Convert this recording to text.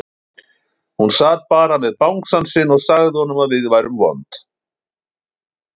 Hún sat bara með bangsann sinn og sagði honum að við værum vond.